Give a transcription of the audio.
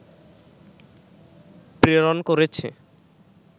প্রেরণ করেছে